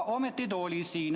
Ometi ta oli siin.